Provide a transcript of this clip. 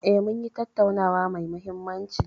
E, munyi tattaunawa mai mahimmanci.